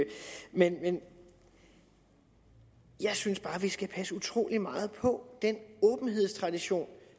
men jeg synes bare vi skal passe utrolig meget på den åbenhedstradition